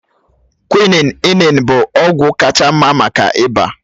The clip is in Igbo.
Kwị́nị́n inin bụ ọgwụ kacha mma maka ịba